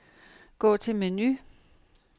Gå til menu.